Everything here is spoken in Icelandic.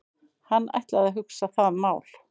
Hann ætlaði að hugsa það mál.